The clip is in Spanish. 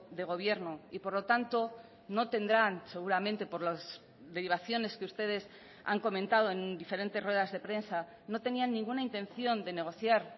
de gobierno y por lo tanto no tendrán seguramente por las derivaciones que ustedes han comentado en diferentes ruedas de prensa no tenían ninguna intención de negociar